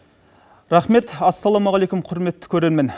рахмет ассалаумаалейкум құрметті көрермен